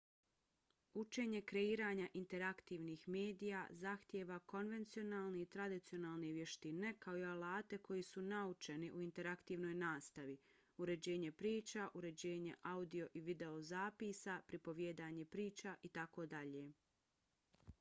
učenje kreiranja interaktivnih medija zahtijeva konvencionalne i tradicionalne vještine kao i alate koji su naučeni u interaktivnoj nastavi uređivanje priča uređivanje audio i videozapisa pripovijedanje priča itd.